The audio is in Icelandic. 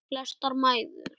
Flestar mæður.